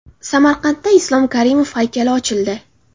Samarqandda Islom Karimov haykali ochildi.